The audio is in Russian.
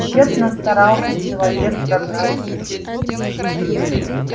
тщетно старался человек прогнать их